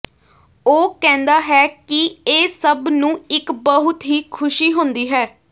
ਉਹ ਕਹਿੰਦਾ ਹੈ ਕਿ ਇਹ ਸਭ ਨੂੰ ਇੱਕ ਬਹੁਤ ਹੀ ਖ਼ੁਸ਼ੀ ਹੁੰਦੀ ਹੈ